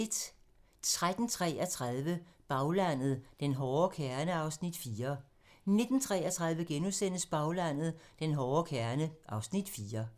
13:33: Baglandet: Den hårde kerne (Afs. 4) 19:33: Baglandet: Den hårde kerne (Afs. 4)*